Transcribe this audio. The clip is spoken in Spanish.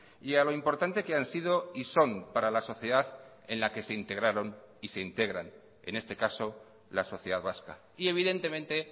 y a lo importante que han sido y son para la sociedad en la que se integraron y se integran en este caso la sociedad vasca y evidentemente